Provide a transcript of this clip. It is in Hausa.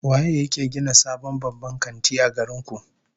Waye yake gina sabon babban kanti a garin ku?